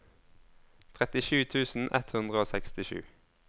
trettisju tusen ett hundre og sekstisju